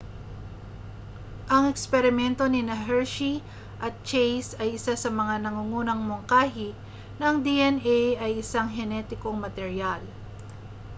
ang eksperimento nina hershey at chase ay isa sa mga nangungunang mungkahi na ang dna ay isang henetikong materyal